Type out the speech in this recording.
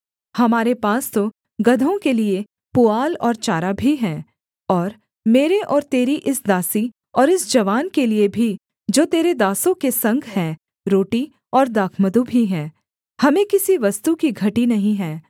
हमारे पास तो गदहों के लिये पुआल और चारा भी है और मेरे और तेरी इस दासी और इस जवान के लिये भी जो तेरे दासों के संग है रोटी और दाखमधु भी है हमें किसी वस्तु की घटी नहीं है